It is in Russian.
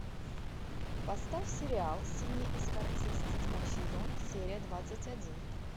поставь сериал синий экзорцист седьмой сезон серия двадцать один